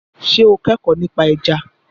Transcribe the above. Ṣé o kẹ́kọ̀ọ́ nípa ẹja?